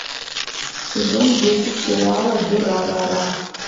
сезон десять сериала дюрарара